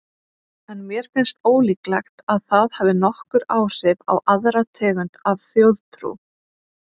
En mér finnst ólíklegt að það hafi nokkur áhrif á aðra tegund af þjóðtrú.